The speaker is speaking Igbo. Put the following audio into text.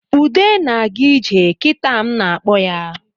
Ude na-aga ije kitaa m na-akpọ ya